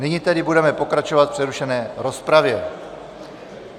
Nyní tedy budeme pokračovat v přerušené rozpravě.